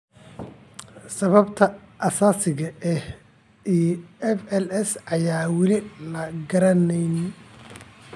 Sababta asaasiga ah ee FLS ayaan weli la garanayn.